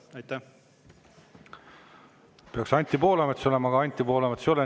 Peaks Anti Poolametsa olema, aga Anti Poolametsa ei ole.